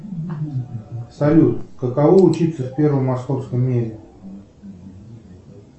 салют каково учиться в первом московском меде